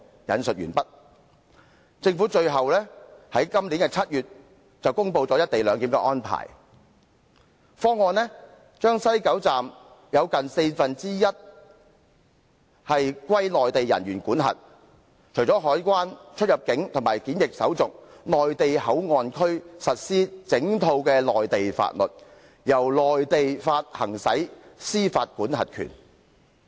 "最後，政府在今年7月公布"一地兩檢"安排方案，把西九龍總站劃出近四分之一範圍歸內地人員管轄，除了海關、出入境及檢疫手續，內地口岸區實施整套內地法律，由內地行使司法管轄權。